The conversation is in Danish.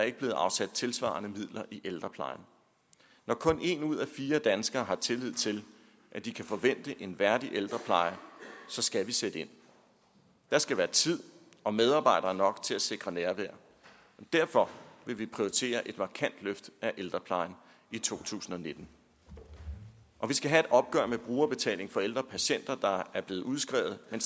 ikke blevet afsat tilsvarende midler i ældreplejen når kun en ud af fire danskere har tillid til at de kan forvente en værdig ældrepleje så skal vi sætte ind der skal være tid og medarbejdere nok til at sikre nærvær derfor vil vi prioritere et markant løft af ældreplejen i to tusind og nitten og vi skal have et opgør med brugerbetalingen for ældre patienter der er blevet udskrevet men